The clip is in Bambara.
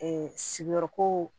sigiyɔrɔ ko